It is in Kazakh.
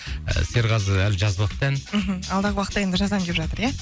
серғазы әлі жазбапты ән мхм алдағы уақытта енді жазамын деп жатыр ия